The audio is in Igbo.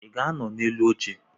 Ị ga-anọ n'elu oche?